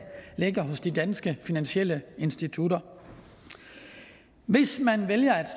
ligger hos de danske finansielle institutter hvis man vælger at